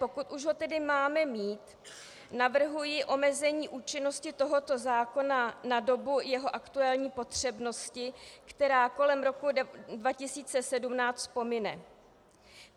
Pokud už ho tedy máme mít, navrhuji omezení účinnosti tohoto zákona na dobu jeho aktuální potřebnosti, která kolem roku 2017 pomine.